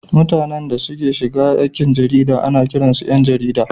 Mutanen da suka shiga aikin jarida ana kiransu ’yan jarida.